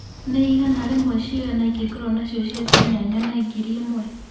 nĩ ĩgana rĩmwe cigana ĩngikorwo nacio cia Kenya nyone ngĩri ĩmwe